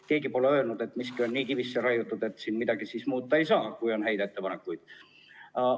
Keegi pole öelnud, et miski on siin nii kivisse raiutud, et midagi muuta ei saa, kui on häid ettepanekuid.